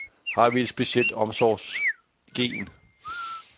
Har vi et specielt omsorgsgen?